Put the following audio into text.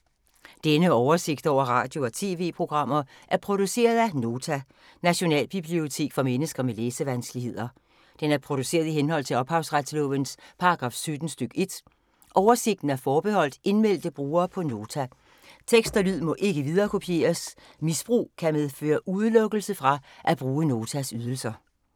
Denne oversigt over radio og TV-programmer er produceret af Nota, Nationalbibliotek for mennesker med læsevanskeligheder. Den er produceret i henhold til ophavsretslovens paragraf 17 stk. 1. Oversigten er forbeholdt indmeldte brugere på Nota. Tekst og lyd må ikke viderekopieres. Misbrug kan medføre udelukkelse fra at bruge Notas ydelser.